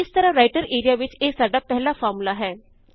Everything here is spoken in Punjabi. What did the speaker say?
ਅਤੇ ਇਸ ਤਰਹ ਰਾਇਟਰ ਏਰੀਆ ਵਿੱਚ ਇਹ ਸਾਡਾ ਪਹਿਲਾ ਫ਼ਾਰਮੂਲਾ ਹੈ